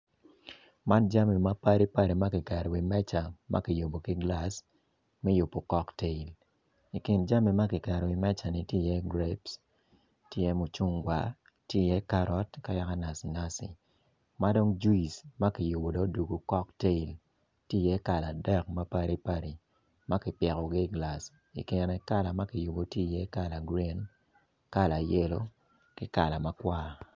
Man jami mapadipadi ma kiketo i wi meja ma kiyubo ki gilaci me yubo kok tail i kin jami ma kiketo i wi meja ni tye iye greps tye i ye mucungwar nacinaci ma dong juic ma dong kiyubo odokokok tail